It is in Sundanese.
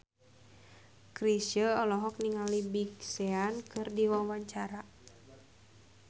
Chrisye olohok ningali Big Sean keur diwawancara